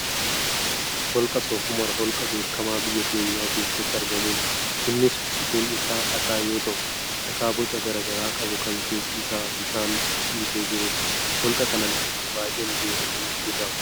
Holqa Soofumar holqa beekamaa biyya keenya keessatti argamudha. Innis guutun isaa dhakaa yoo ta'u, dhakaa boca garaagaraa qabu kan keessi isaa bishaan ciisee jirudha. Holqa kana namoonni baay'een deemanii ni daawwatu.